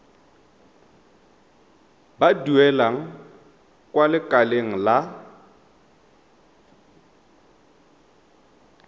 ba duelang kwa lekaleng la